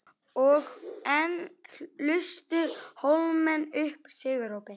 Og enn lustu Hólamenn upp sigurópi.